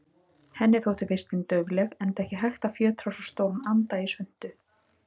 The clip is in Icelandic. Henni þótti vistin daufleg, enda ekki hægt að fjötra svo stóran anda í svuntu.